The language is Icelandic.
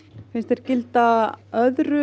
finnst þér gilda öðru